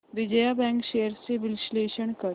Vijaya Bank shares चे विश्लेषण कर